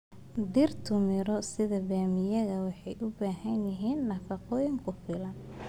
Dhirtu miro sida bamaameyga waxay u baahan yihiin nafaqo ku filan.